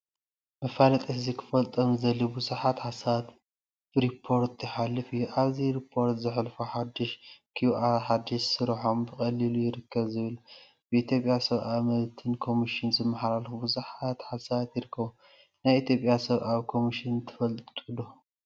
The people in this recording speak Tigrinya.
መፋለጢ ህዝቢ ክፈልጦም ዝድለዩ ቡዙሓት ሓሳባት ብሪፖርተር ይሓልፍ እዩ፡፡ አብዚ ሪፖርተር ዘሕልፎ ሓዱሽ ኪውአር፣ ሓዲሽ ስርሖም ብቀሊሉ ይርከቡ ዝብል፣ ብኢትዮጵያ ሰብአዊ መብትን ኮሚሽን ዝመሓላለፉ ቡዙሓት ሓሳባት ይርከቡ፡፡ ናይ ኢትዮጵያ ሰብአዊ ኮሚሽን ትፈልጥዎ ዶ?